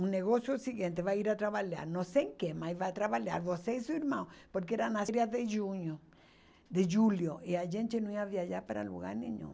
Um negócio é o seguinte, vai ir a trabalhar, não sei em que, mas vai trabalhar, você e seu irmão, porque era nas férias de junho, de julho, e a gente não ia viajar para lugar nenhum.